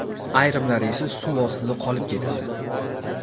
Ayrimlari esa suv ostida qolib ketadi.